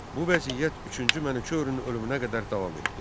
Bu vəziyyət üçüncü Mənüçöhrün ölümünə qədər davam etdi.